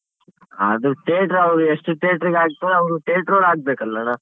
ಅದು theatre ಅವ್ರ್ ಎಷ್ಟ್ theatre ಇಗ್ ಹಾಕ್ತಾರೋ ಅವ್ರು theatre ಅವ್ರು ಹಾಕ್ಬೇಕಲ್ಲಣ್ಣ.